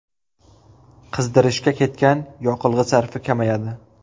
Qizdirishga ketgan yoqilg‘i sarfi kamayadi”.